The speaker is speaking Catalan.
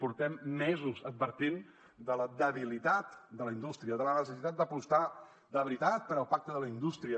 portem mesos advertint de la debilitat de la indústria davant la necessitat d’apostar de veritat pel pacte per la indústria